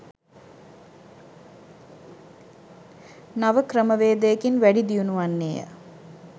නව ක්‍රමවේදයකින් වැඩි දියුණු වන්නේය.